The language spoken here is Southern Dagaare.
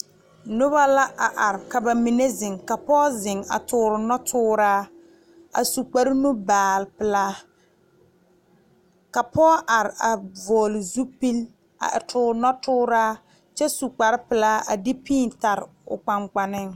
Noba la a are ka bamine zeŋ ka pɔge zeŋ a tuure noɔtuura a su kpare nubaale pelaa ka pɔge are a vɔgle zupele a tuure noɔtuura kyɛ su kpare pelaa a de pii tare o kpaŋkpanne.